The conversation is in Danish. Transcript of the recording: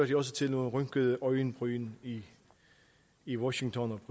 det også til rynkede øjenbryn i washington